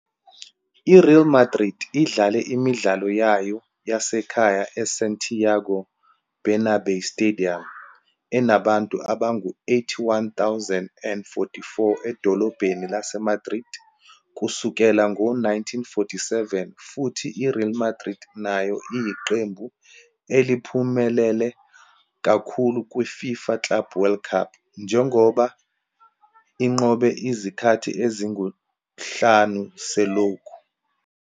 I-Real Madrid idlale imidlalo yayo yasekhaya eSantiago Bernabéu Stadium enabantu abangu-81,044 edolobheni laseMadrid kusukela ngo-1947 futhi i-Real Madrid nayo iyiqembu eliphumelela kakhulu kwi-FIFA Club World Cup, njengoba inqobe izikhathi ezinhlanu selokhu